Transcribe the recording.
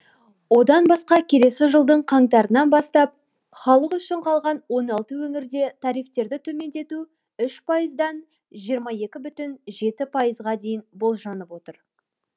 одан басқа келесі жылдың қаңтарынан бастап халық үшін қалған он алты өңірде тарифтерді төмендету үш пайыздан жиырма екі бүтін жеті пайызға дейін болжанып отыр